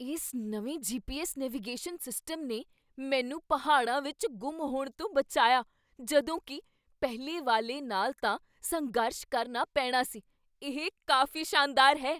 ਇਸ ਨਵੇਂ GPS. Navigation system ਨੇ ਮੈਨੂੰ ਪਹਾੜਾਂ ਵਿੱਚ ਗੁੰਮ ਹੋਣ ਤੋਂ ਬਚਾਇਆ ਜਦੋਂ ਕੀ ਪਹਿਲੇ ਵਾਲੇ ਨਾਲ ਤਾਂ ਸੰਘਰਸ਼ ਕਰਨਾ ਪੈਣਾ ਸੀ। ਇਹ ਕਾਫ਼ੀ ਸ਼ਾਨਦਾਰ ਹੈ!